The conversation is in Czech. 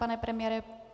Pane premiére?